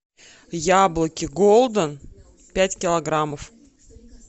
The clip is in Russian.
яблоки голден пять килограммов